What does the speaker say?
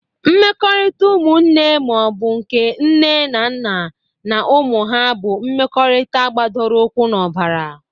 Mmekọrịta umụnne ma ọ bụ nke nne na nna na ụmụ ha bụ mmekọrịta gbadoro ụkwụ n'ọbara.